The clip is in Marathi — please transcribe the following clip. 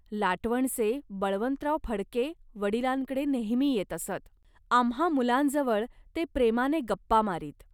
लाटवणचे बळवंतराव फडके वडिलांकडे नेहमी येत असत. आम्हां मुलांजवळ ते प्रेमाने गप्पा मारीत